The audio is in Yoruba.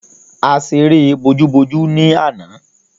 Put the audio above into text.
A ṣeré bojú-bojú ni àná.